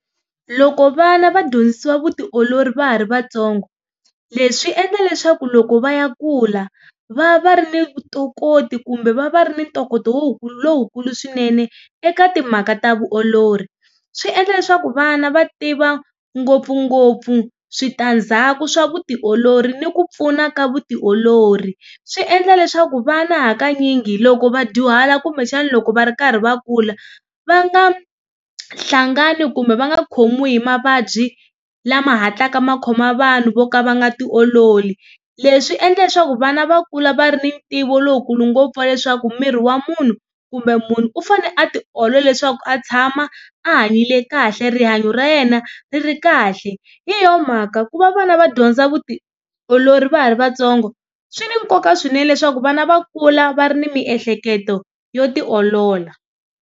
Loko vana va dyondzisiwa vutiolori va ha ri vatsongo leswi swi endla leswaku loko va ya kula va va ri ni vutokoti kumbe va va ri ni ntokoto lowukulu swinene eka timhaka ta vuolori. Swi endla leswaku vana va tiva ngopfungopfu switandzhaku swa vutiolori ni ku pfuna ka vutiolori. Swi endla leswaku vana hakanyingi loko va dyuhala kumbexana loko va ri karhi va kula va nga hlangani kumbe va nga khomiwi hi mavabyi lama hatlaka ma khoma vanhu vo ka va nga tiololi. Leswi endla leswaku vana va kula va ri ni ntivo lowukulu ngopfu wa leswaku miri wa munhu kumbe munhu u fane a tiolola leswaku a tshama a hanyile kahle rihanyo ra yena ri ri kahle hi yona mhaka ku va vana va dyondza vutiolori va ha ri vatsongo swi ni nkoka swinene leswaku vana va kula va ri ni miehleketo yo tiolola.